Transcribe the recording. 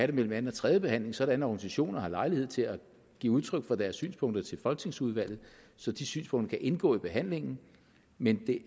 det mellem anden og tredje behandling sådan at organisationer har lejlighed til at give udtryk for deres synspunkter til folketingsudvalget så de synspunkter kan indgå i behandlingen men det